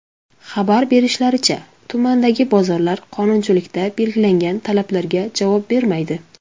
Xabar berishlaricha, tumandagi bozorlar qonunchilikda belgilangan talablarga javob bermaydi.